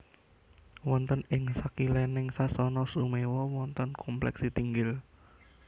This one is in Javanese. Wonten ing sakilèning Sasana Sumewa wonten komplèk Sitihinggil